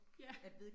Ja